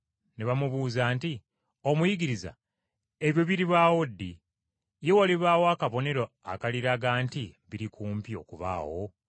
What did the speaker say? Ne bamubuuza nti, “Omuyigiriza, ebyo biribaawo ddi? Ye walibaawo akabonero akaliraga nti biri kumpi okubaawo?”